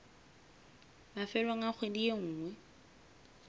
mafelong a kgwedi e nngwe